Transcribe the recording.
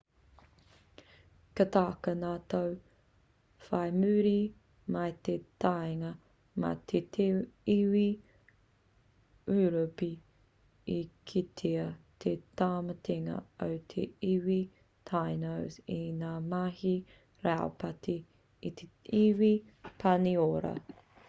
ka taka ngā tau whai muri mai i te taenga mai a te iwi ūropi i kitea te tāmatenga o te iwi tainos i ngā mahi raupati a te iwi pāniora